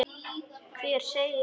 Hver segir það?